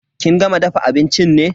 Kin gama dafa abincin ne?